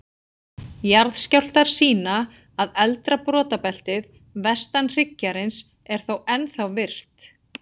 Jarðskjálftar sýna að eldra brotabeltið, vestan hryggjarins, er þó ennþá virkt.